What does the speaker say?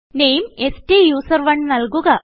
നാമെ സ്റ്റൂസറോണ് നല്കുക